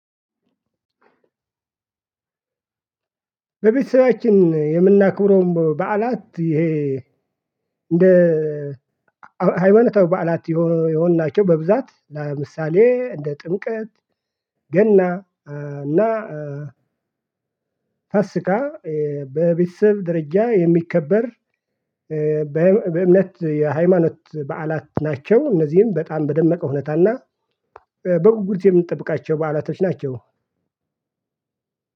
በቤተሰባችን የምናክብረውም በዓላት ይሄ እንደ ሃይማኖታዊ በዓላት የሆኑ የሆኑ ናቸው። በብዛት ለምሳሌ እንደ ጥምቀት ገና እና ፋሲካ። በቤተሰብ ደረጃ የሚከበር በምነ በእምነት የሃይማኖት በዓላት ናቸው። እነዚህም በጣም በደመቀ ሁኔታ እና በጉጉት የምንጠብቃቸው በዓላቶች ናቸው።